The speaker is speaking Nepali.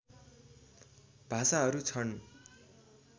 भाषाहरू छन्